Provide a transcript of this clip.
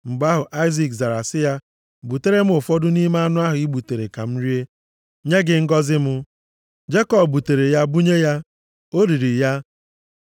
Mgbe ahụ, Aịzik zara sị ya, “Butere m ụfọdụ nʼime anụ ahụ i gbutere ka m rie, nye gị ngọzị m.” Jekọb butere ya bunye ya. O riri ya.